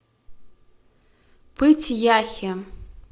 пыть яхе